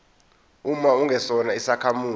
uma ungesona isakhamuzi